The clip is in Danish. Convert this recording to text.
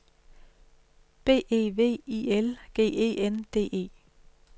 B E V I L G E N D E